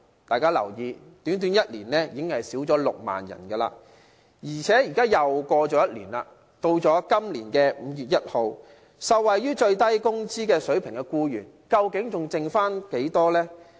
大家要留意，短短1年已經減少6萬人，而且現在又過了1年，到今年5月1日，受惠於最低工資的僱員，究竟還剩下多少呢？